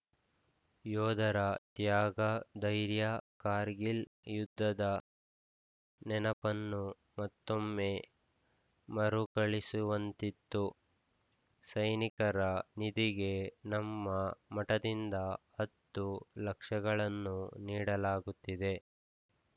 ಯೋಧರ ತ್ಯಾಗ ಧೈರ್ಯ ಕಾರ್ಗಿಲ್‌ ಯುದ್ಧದ ನೆನಪನ್ನು ಮತ್ತೊಮ್ಮೆ ಮರುಕಳಿಸುವಂತಿತ್ತು ಸೈನಿಕರ ನಿಧಿಗೆ ನಮ್ಮ ಮಠದಿಂದ ಹತ್ತು ಲಕ್ಷಗಳನ್ನು ನೀಡಲಾಗುತ್ತಿದೆ